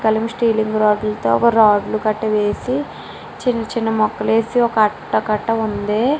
Styling rod తో ఒక rod కట్ట వేసి కట్ట కట్ట గ ఉంది.